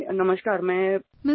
"Mr